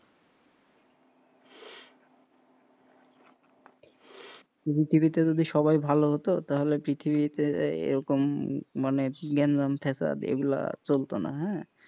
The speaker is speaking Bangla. পৃথিবীতে যদি সবাই ভালো হতো তাহলে পৃথিবীতে এরকম মনের গ্যান্জাম ফাসাদ এইগুলা চলতো না, হ্যাঁ,